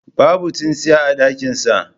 Babu tsintsiya a dakinsa.